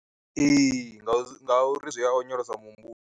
Ee, ngau zwi nga uri zwia onyolosa muhumbulo.